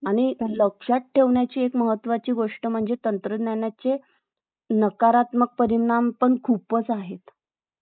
आणि लक्षात ठेवण्याची एक महत्त्वाची गोष्ट म्हणजे तंत्रज्ञानाचे नकारात्मक परिणाम पण खूपच आहेत